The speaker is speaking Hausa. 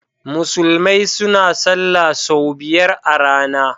Musulmai suna salah sau biyar a rana.